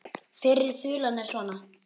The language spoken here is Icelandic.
Fyrri þulan er svona